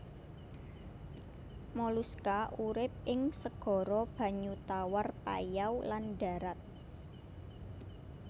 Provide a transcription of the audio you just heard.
Moluska urip ing segara banyu tawar payau lan dharat